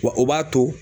Wa o b'a to